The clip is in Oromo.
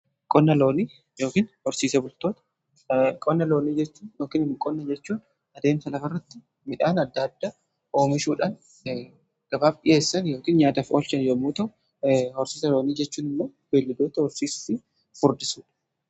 qonna loonii yookiin horsiisee bultoonni , qonna loonii jechuun, qonna jechuun adeemsa lafarratti midhaan adda addaa oomishuudhaan gabaaf dhi'eessan yookiin nyaataa fi oolchan yommuu ta'u, horsiisa loonii jechuun immoo belladoota horsiisi furdisuudha.